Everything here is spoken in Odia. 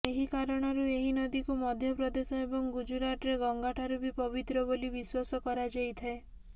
ଏହି କାରଣରୁ ଏହି ନଦୀକୁ ମଧ୍ୟପ୍ରଦେଶ ଏବଂ ଗୁଜରାଟରେ ଗଙ୍ଗାଠାରୁ ବି ପବିତ୍ର ବୋଲି ବିଶ୍ୱାସ କରାଯାଇଥାଏ